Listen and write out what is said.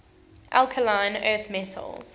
alkaline earth metals